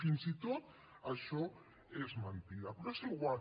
fins i tot això és mentida però és igual